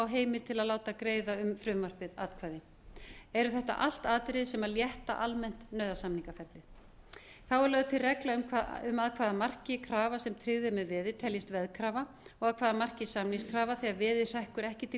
heimild til að láta greiða atkvæði um frumvarpið eru þetta allt atriði sem létta almennt nauðasamningaferlið þá er lögð til regla um að hvaða marki krafa sem tryggð er með veði teljist veðkrafa og að hvaða marki samningskrafa þegar veðið hrekkur ekki til